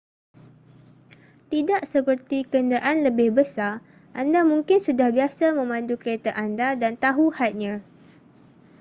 tidak seperti kenderaan lebih besar anda mungkin sudah biasa memandu kereta anda dan tahu hadnya